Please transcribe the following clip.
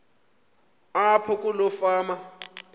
apho kuloo fama